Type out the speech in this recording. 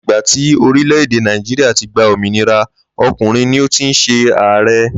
Láti ìgbà tí orílè̩-èdè Náíjíríà ti gba òmìnira, o̩kùnrin ni ó ti ń s̩e ààre̩